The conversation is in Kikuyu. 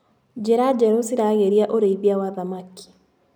Njĩra njerũ ciragĩria ũrĩithia wa thamaki.